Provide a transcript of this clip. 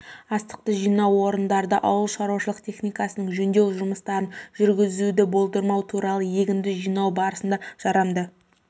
астықты жинау орындарында ауыл шаруашылық техникасының жөндеу жұмыстарын жүргізуді болдырмау туралы егінді жинау барысында жарамды